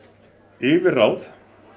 yfirráð